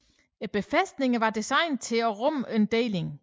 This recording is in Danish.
Befæstningerne var designet til at rumme en deling